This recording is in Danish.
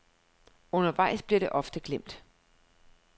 Undervejs bliver det ofte glemt.